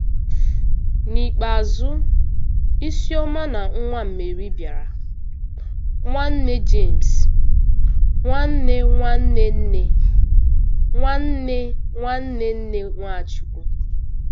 N'ikpeazụ, Isioma na nwa Meri bịara, nwanne Jemes, nwanne nwanne nne nwanne nwanne nne Nwachukwu.